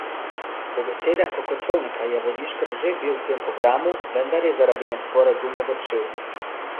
Po besedah Klokočovnika je Vodiškar že bil v tem programu, vendar je zaradi nesporazumov odšel.